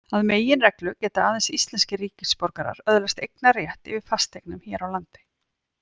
Að meginreglu geta aðeins íslenskir ríkisborgarar öðlast eignarrétt yfir fasteignum hér á landi.